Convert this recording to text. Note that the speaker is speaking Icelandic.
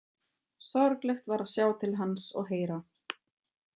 Sorglegt var að sjá til hans og heyra.